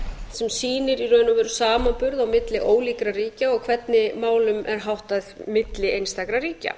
sem sýnir í raun og veru samanburð á milli ólíkra ríkja og hvernig málum er háttað milli einstakra ríkja